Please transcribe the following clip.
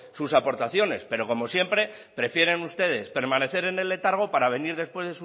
sus aportaciones pero como siempre prefieren ustedes permanecer en el letargo para venir después